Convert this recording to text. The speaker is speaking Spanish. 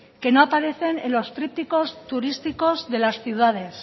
que no aparecen en los trípticos turísticos de las ciudades